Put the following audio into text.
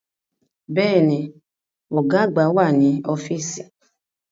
Bẹ́ẹ̀ni, Ọ̀gá àgbà wà ní ọ́fíìsì